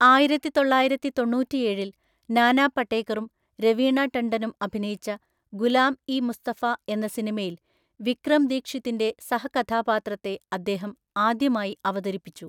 ആയിരത്തിതൊള്ളായിരത്തിതൊണ്ണൂറ്റിഎഴില്‍ നാനാ പടേക്കറും രവീണ ടണ്ടനും അഭിനയിച്ച ഗുലാം ഇ മുസ്തഫ എന്ന സിനിമയിൽ വിക്രം ദീക്ഷിതിന്റെ സഹകഥാപാത്രത്തെ അദ്ദേഹം ആദ്യമായി അവതരിപ്പിച്ചു.